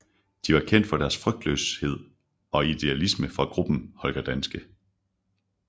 De var kendt for deres frygtløshed og idealisme fra gruppen Holger Danske